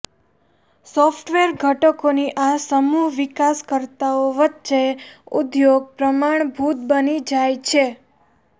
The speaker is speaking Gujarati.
સોફ્ટવેર ઘટકોની આ સમૂહ વિકાસકર્તાઓ વચ્ચે ઉદ્યોગ પ્રમાણભૂત બની જાય છે